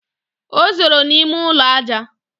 O zoro n'ime ụlọ ajá!